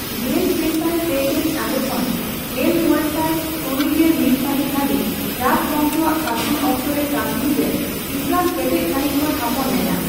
ᱜᱮᱞ ᱯᱮ ᱥᱟᱭ ᱯᱮᱜᱮᱞ ᱟᱨᱮ ᱠᱷᱚᱱ ᱜᱮᱞ ᱢᱚᱲᱮᱥᱟᱭ ᱛᱩᱨᱭᱜᱮᱞ ᱢᱤᱛᱥᱟᱹᱦᱤᱛ ᱫᱷᱟᱹᱵᱤᱡ ᱨᱟᱡᱽᱵᱚᱝᱥᱚᱣᱟᱜ ᱥᱟᱥᱚᱱ ᱚᱠᱛᱚᱨᱮ ᱠᱟᱥᱢᱤᱨ ᱨᱮ ᱤᱥᱞᱟᱢ ᱠᱮᱴᱮᱡ ᱥᱟᱸᱦᱤᱡ ᱠᱚ ᱛᱷᱟᱯᱚᱱ ᱞᱮᱱᱟ ᱾